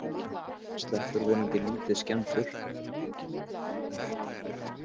Sleppur vonandi lítið skemmdur